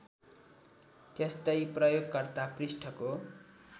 त्यस्तै प्रयोगकर्ता पृष्ठको